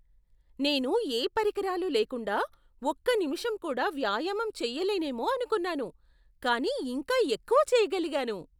నేను ఏ పరికరాలు లేకుండా ఒక్క నిమిషం కూడా వ్యాయామం చేయలేనేమో అనుకున్నాను, కాని ఇంకా ఎక్కువ చేయగలిగాను.